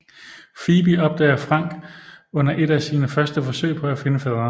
Phoebe opdager Frank under et af sine første forsøg på at finde faderen